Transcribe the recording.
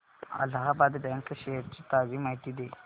Allahabad bank shares ची ताजी माहिती दे